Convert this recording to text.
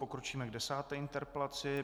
Pokročíme k desáté interpelaci.